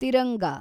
Tiranga